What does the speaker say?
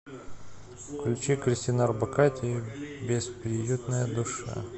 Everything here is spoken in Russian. включи кристину орбакайте бесприютная душа